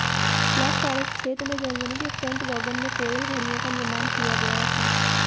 black forest क्षेत्र में Germany के फर्टवांगेन में कोयल घड़ियों का निर्माण किया गया था